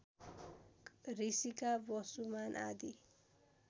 ऋषिका वसुमान आदि